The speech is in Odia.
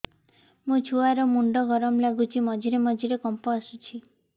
ମୋ ଛୁଆ ର ମୁଣ୍ଡ ଗରମ ଲାଗୁଚି ମଝିରେ ମଝିରେ କମ୍ପ ଆସୁଛି